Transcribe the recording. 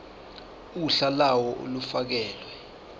uhla lawo olufakelwe